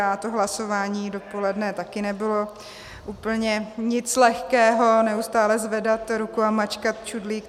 A to hlasování dopoledne taky nebylo úplně nic lehkého, neustále zvedat ruku a mačkat čudlík.